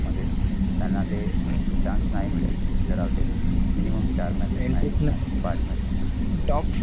मध्ये त्याना ते chance नाही मिळेल जर minimum चार match पाच match